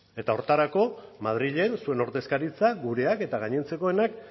eta horretarako madrilen zuen ordezkaritzak gureak eta gainontzekoenak